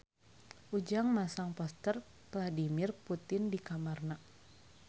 Ujang masang poster Vladimir Putin di kamarna